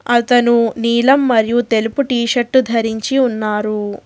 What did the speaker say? అతను నీలం మరియు తెలుపు టీ షర్టు ధరించి ఉన్నారు.